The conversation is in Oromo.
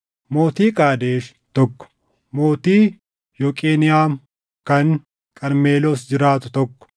mootii Qaadesh, tokko mootii Yoqeniʼaam kan Qarmeloos jiraatu, tokko